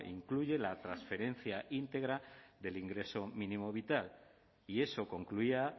incluye la transferencia íntegra del ingreso mínimo vital y eso concluía